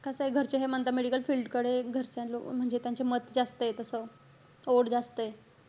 कसंय घरचे हे म्हणतात medical field कडे घरच्या लो~ म्हणजे त्यांचे मत जास्तय तस. ओढ जास्तय.